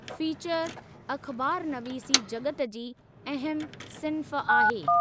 Feature अख़बारनवीसी जॻत जी अहमु सिंफ आहे।